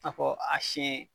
A kɔn a siyɛn.